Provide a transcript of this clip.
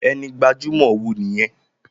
Ẹni gbajumọ wo nìyẹn?